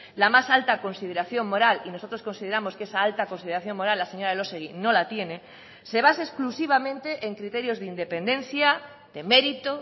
la más alta consideración moral y nosotros consideramos que esa alta consideración moral la señora elósegui no la tiene se base exclusivamente en criterios de independencia de mérito